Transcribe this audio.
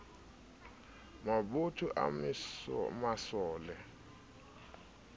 mabotho a masole a malala